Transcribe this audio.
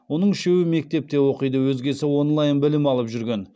оның үшеуі мектепте оқиды өзгесі онлайн білім алып жүрген